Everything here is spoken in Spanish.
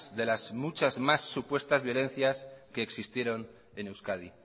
de las muchas más supuestas violencias que existieron en euskadi